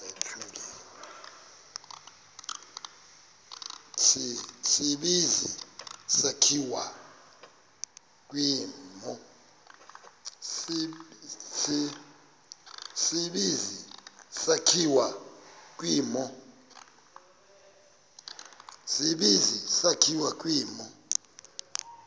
tsibizi sakhiwa kwimo